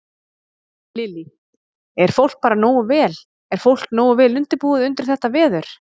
Lillý: Er fólk bara nógu vel, er fólk nógu vel undirbúið undir þetta veður?